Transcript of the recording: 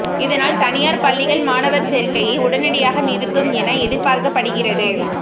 இதனால் தனியார் பள்ளிகள் மாணவர் சேர்க்கையை உடனடியாக நிறுத்தும் என எதிர்பார்க்கப்படுகிறது